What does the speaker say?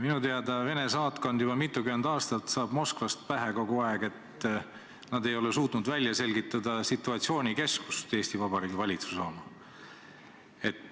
Minu teada Vene saatkond juba mitukümmend aastat saab Moskvast kogu aeg pähe, et nad ei ole suutnud välja selgitada situatsioonikeskust, Eesti Vabariigi valitsuse oma.